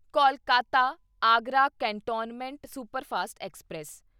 Kolkata Agra cantonment superfast express